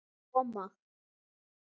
Hann er að koma!